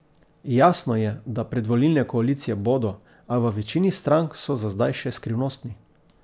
Jasno je, da predvolilne koalicije bodo, a v večini strank so za zdaj še skrivnostni.